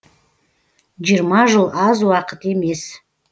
жиырма жыл аз уақыт емес